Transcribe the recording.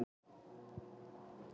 Hárekur, lækkaðu í græjunum.